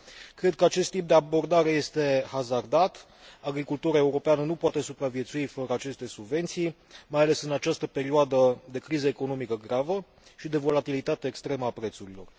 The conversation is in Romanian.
Cred că acest tip de abordare este hazardat, agricultura europeană nu poate supraviețui fără aceste subvenții, mai ales în această perioadă de criză economică gravă și de volatilitate extremă a prețurilor.